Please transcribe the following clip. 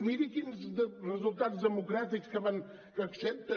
miri quins resultats democràtics que accepten